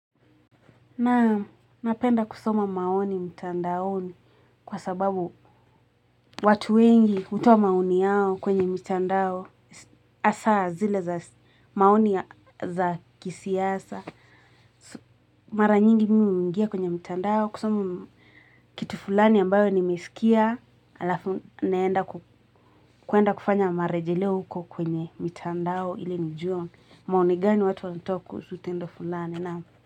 Naam, napenda kusoma maoni mtandaoni kwa sababu watu wengi hutoa maoni yao kwenye mitandao hasa zile za maoni ya za kisiasa. Mara nyingi mimi huingia kwenye mtandao kusoma kitu fulani ambayo nimesikia. Halafu naenda kuenda kufanya marejeleo huko kwenye mtandao ili nijue maoni gani watu wanatoa kuhusu tendo fulani.